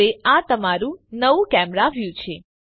હવે આ તમારૂ નવું કેમેરા વ્યુ છે